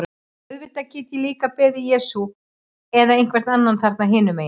Auðvitað get ég líka beðið Jesú eða einhvern annan þarna hinum megin.